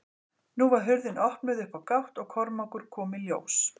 Nú var hurðin opnuð upp á gátt og Kormákur kom í ljós.